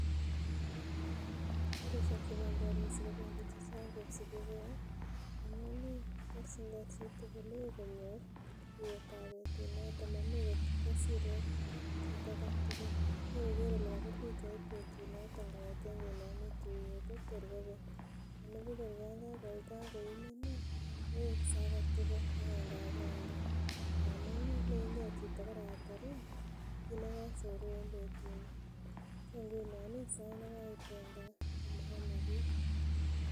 Karisiek chebendii harusi kobendii chechang kosibigee amun ih borchin gee chitugul ih konyor tuiyet ab betunoton momoe ngot kosir okot kit aketugul moe koker kole kobir pichait betunoton kong'eten konome tuiyet ih tor kobek anibuch kor yan kakoimen ih koweksee aketugul agenge agenge amun ih lein gee karatar kit nekosoru en betuni so ngunon ih sait nekaiten gaa komoomen kiy